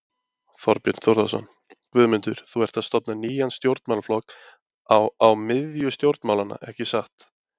Þorbjörn Þórðarson: Guðmundur, þú ert að stofna nýjan stjórnmálaflokk á, á miðju stjórnmálanna, ekki satt?